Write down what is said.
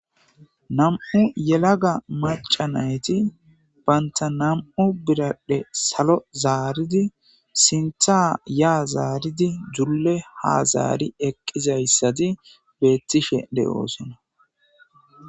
nam7u yelaga macanayti banta nam7u biradhe salo zaaridi sinthaa yaa zaaridi julle hazaari eqqizayssati beettishe de7oosinna